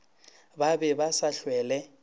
ba be ba sa hwele